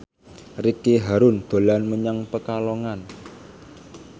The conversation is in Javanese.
Ricky Harun dolan menyang Pekalongan